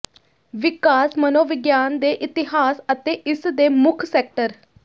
ਵਿਕਾਸ ਮਨੋਵਿਗਿਆਨ ਦੇ ਇਤਿਹਾਸ ਅਤੇ ਇਸ ਦੇ ਮੁੱਖ ਸੈਕਟਰ